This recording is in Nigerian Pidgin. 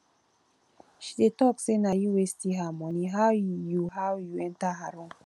she dey talk say na you wey steal her money how you how you enter her room